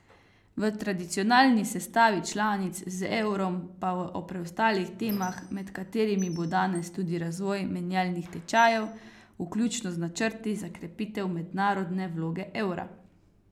V tradicionalni sestavi članic z evrom pa o preostalih temah, med katerimi bo danes tudi razvoj menjalnih tečajev, vključno z načrti za krepitev mednarodne vloge evra.